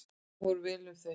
Þar fór vel um þau.